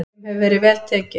Þeim hefur verið vel tekið.